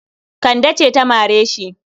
Kande ce ta mare shi.